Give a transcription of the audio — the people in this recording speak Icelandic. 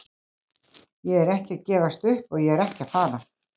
Ég er ekki að gefast upp og ég er ekki að fara.